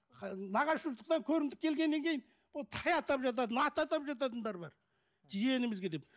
нағашы жұрттықтан көрімдік келгеннен кейін ол тай атап жатады ат атап жататындар бар жиенімізге деп